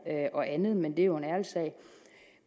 og andet men det er jo en ærlig sag